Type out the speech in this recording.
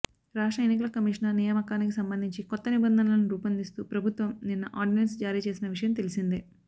రాష్ట్ర ఎన్నికల కమిషనర్ నియామకానికి సంబంధించి కొత్త నిబంధనలను రూపొందిస్తూ ప్రభుత్వం నిన్న ఆర్డినెన్స్ జారీ చేసిన విషయం తెలిసిందే